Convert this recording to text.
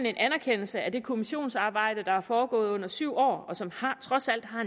en anerkendelse af det kommissionsarbejde der er foregået gennem syv år og som trods alt har